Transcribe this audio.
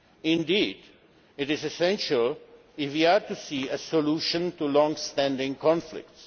Indeed, it is essential if we are to see a solution to long standing conflicts.